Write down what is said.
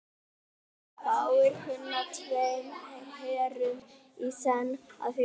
Fáir kunna tveim herrum í senn að þjóna.